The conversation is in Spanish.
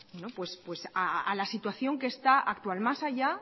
a la situación que está actual más allá